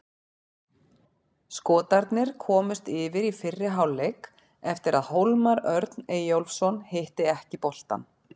Skotarnir komust yfir í fyrri hálfleik eftir að Hólmar Örn Eyjólfsson hitti ekki boltann.